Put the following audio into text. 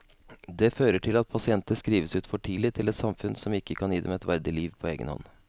Det fører til at pasienter skrives ut for tidlig til et samfunn som ikke kan gi dem et verdig liv på egen hånd.